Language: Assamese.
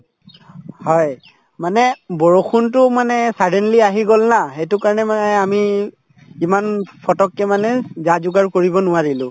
হয় মানে বৰষুণতোও মানে suddenly আহি গল না সেইটো কাৰণে মানে আমি ইমান ফটককে মানে যা-যোগাৰ কৰিব নোৱাৰিলো